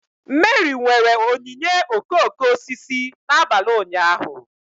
Meri nwere onyinye okooko osisi n'abalị ụnyaahụ.